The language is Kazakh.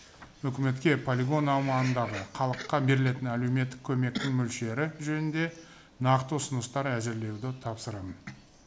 үкіметке полигон аумағындағы халыққа берілетін әлеуметтік көмектің мөлшері жөнінде нақты ұсыныстар әзірлеуді тапсырамын